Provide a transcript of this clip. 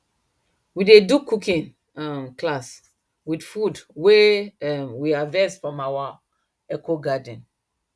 we dey do cooking um class with food wey um we harvest from our ecogarden